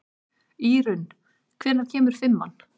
Írunn, hvenær kemur fimman?